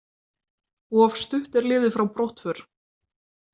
Of stutt er liðið frá brottför.